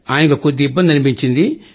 ఆయనకు కొద్దిగా ఇబ్బంది అనిపించింది